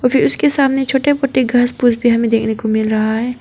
उसके सामने छोटे मोटे घास फूस भी हमें देखने को मिल रहा है।